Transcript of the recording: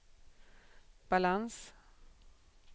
balans